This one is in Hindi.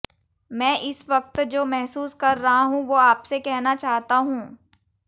मैं इस वक्त जो महसूस कर रहा हूँ वो आपसे कहना चाहता हूँ